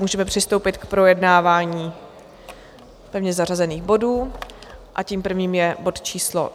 Můžeme přistoupit k projednávání pevně zařazených bodů a tím prvním je bod číslo